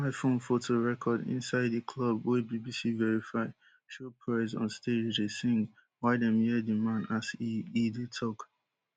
mobile phone foto record inside di club wey bbc verify show prez on stage dey sing while dem hear di man as e e dey tok